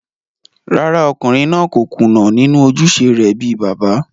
Rárá, ọkùnrin náà kò kùnà nínú ojúṣe rẹ̀ bíi bàbá